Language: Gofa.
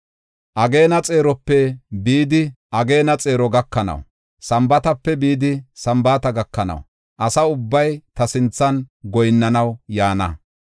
Ageena xeerope bidi ageena xeero gakanaw, Sambaatape bidi Sambaata gakanaw asa ubbay ta sinthan goyinnanaw yaana.